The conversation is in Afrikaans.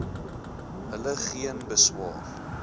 hulle geen beswaar